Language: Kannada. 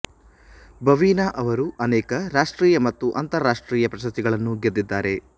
ಭವಿನಾ ಅವರು ಅನೇಕ ರಾಷ್ಟ್ರೀಯ ಮತ್ತು ಅಂತರರಾಷ್ಟ್ರೀಯ ಪ್ರಶಸಿಗಳನ್ನು ಗೆದ್ದಿದ್ದಾರೆ